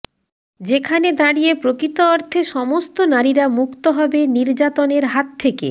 যেখানে দাঁড়িয়ে প্রকৃত অর্থে সমস্ত নারীরা মুক্ত হবে নির্যাতনের হাত থেকে